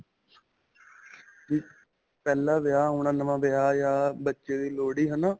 ਵੀ ਪਹਿਲਾਂ ਵਿਆਹ ਹੋਣਾ ਨਵਾ ਵਿਆਹ ਜਾਂ ਬੱਚੇ ਦੀ ਲੋਹੜੀ ਹੈ ਨਾ.